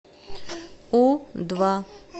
у два